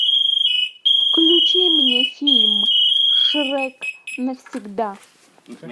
включи мне фильм шрек навсегда